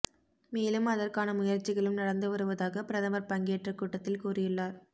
மேலும் அதற்கான முயற்சிகளும் நடந்து வருவதாக பிரதமர் பங்கேற்ற கூட்டத்தில் கூறியுள்ளார்